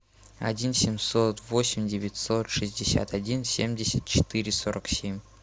один семьсот восемь девятьсот шестьдесят один семьдесят четыре сорок семь